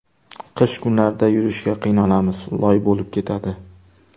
Qish kunlarida yurishga qiynalamiz, loy bo‘lib ketadi.